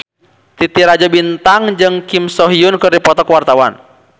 Titi Rajo Bintang jeung Kim So Hyun keur dipoto ku wartawan